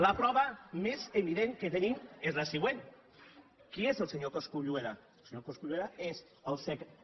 la prova més evident que tenim és la següent qui és el senyor cosculluela el senyor cosculluela és el secretari